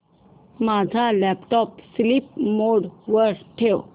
माझा laptop sleep mode वर ठेव